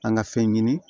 An ka fɛn ɲini